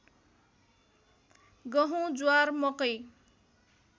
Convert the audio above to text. गहुँ ज्वार मकै